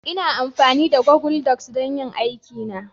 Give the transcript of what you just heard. Ina amfani da Google docs don yin aikina